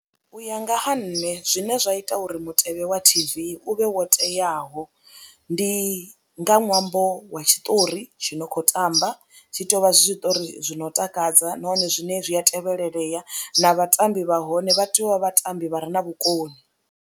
U ya nga ha nṋe zwine zwa ita uri mutevhe wa T_V u vhe wo teaho ndi nga ṅwambo wa tshiṱori tshi no khou tamba, tshi tea u vha zwiṱori zwi no takadza nahone zwine zwi a tevhelelea na vhatambi vha hone vha tea u vha vhatambi vha re na vhukoni.